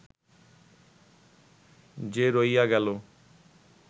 যে রহিয়া গেল